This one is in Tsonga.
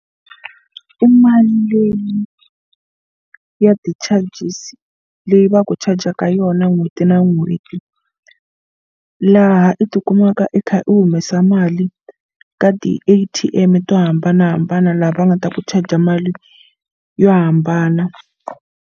I mali leyi ya ti-charges leyi va ku chajaka yona n'hweti na n'hweti laha i tikumaka i kha u humesa mali ka ti-A_T_M to hambanahambana laha va nga ta ku charger mali yo hambana.